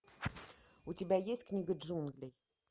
у тебя есть книга джунглей